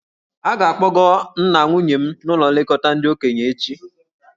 A ga-akpọga nna nwunye m n'ụlọ nlekọta ndị okenye echi.